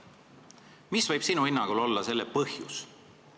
Mis võib sinu hinnangul olla selle põhjus?